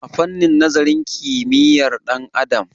a fannin nazarin haliyyar ɗan'adam